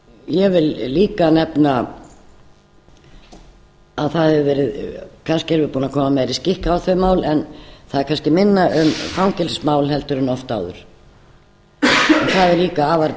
ég vil líka nefna að kannski erum við búin að koma meiri skikk á þau mál en á er kannski minna um fangelsismál en oft áður og það er líka afar